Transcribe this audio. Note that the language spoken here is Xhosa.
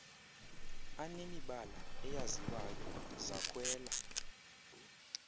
anemibala eyaziwayo zakhwela